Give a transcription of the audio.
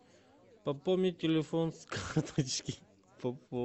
пополнить телефон с карточки